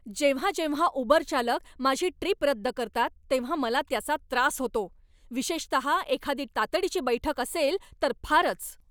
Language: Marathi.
जेव्हा जेव्हा उबर चालक माझी ट्रीप रद्द करतात तेव्हा मला त्याचा त्रास होतो, विशेषतः एखादी तातडीची बैठक असेल तर फारच.